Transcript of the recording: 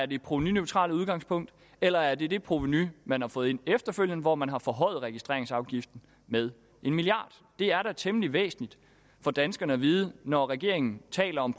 det provenuneutrale udgangspunkt eller er det det provenu man har fået ind efterfølgende hvor man har forhøjet registreringsafgiften med en milliard det er da temmelig væsentligt for danskerne at vide når regeringen taler om